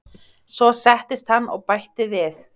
Svo settist hann og bætti við